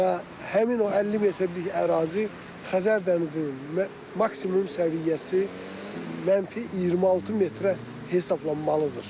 Və həmin o 50 metrlik ərazi Xəzər dənizinin maksimum səviyyəsi -26 metrə hesablanmalıdır.